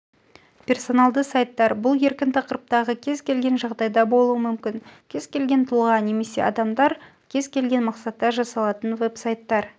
персоналды сайттар бұл еркін тақырыптағы кез-келген жағдайда болуы мүмкін кез-келген тұлға немесе адамдар на кез-келген мақсатта жасалатын веб-сайттар